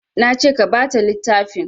Nace ka bata littafin